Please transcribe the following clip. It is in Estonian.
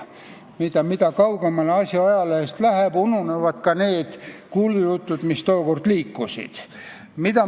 Need asjad jäävad ajalehtedest aina kaugemale ja ununevad ka need kuulujutud, mis tookord liikusid.